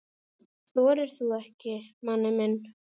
Þorir þú ekki, manni minn?